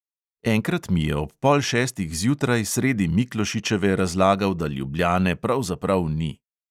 Enkrat mi je ob pol šestih zjutraj sredi miklošičeve razlagal, da ljubljane pravzaprav ni.